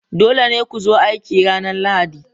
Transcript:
Dole ne ku zo aiki ranar Lahadi!